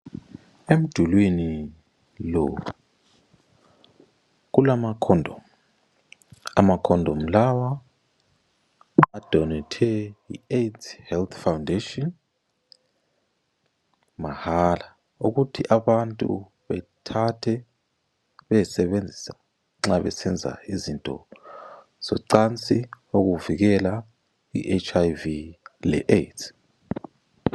Emdulwini lo kulamakhondomu, amakhondomu lawa odonethwe yi Aids health Foundation mahala ukuthi abantu bethathe bayesebenzisa nxa besenza izinto zocansi ukuvikela I HIV le Aids